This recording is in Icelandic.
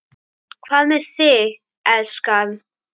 Hvað með þig, elskan.